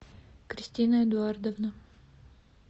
кристина эдуардовна